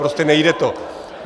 Prostě nejde to.